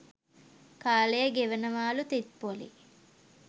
කාලය ගෙවනවාලු තිප්පොලේ.